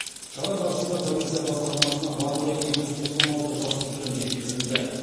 шара барысында полиция басқармасына барлығы екі жүз тоқсан алты жасөспірім жеткізілді